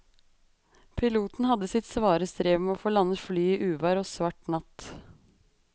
Piloten hadde sitt svare strev med å få landet flyet i uvær og svart natt.